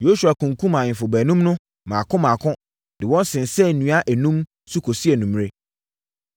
Yosua kunkumm ahemfo baanum no mmaako mmaako de wɔn sensɛn nnua enum so kɔsii anwummerɛ.